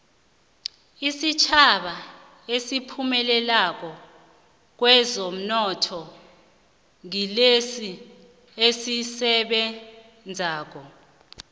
isitjhaba esiphumelelako kwezomnotho ngilesi esisebenzako